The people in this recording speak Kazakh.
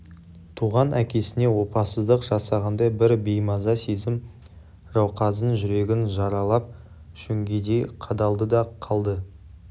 туған әкесіне опасыздық жасағандай бір беймаза сезім жауқазын жүрегін жаралап шөңгедей қадалды да қалды